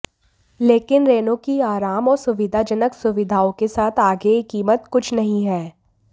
लेकिन रेनो की आराम और सुविधाजनक सुविधाओं के साथ आगे यह कीमत कुछ नहीं है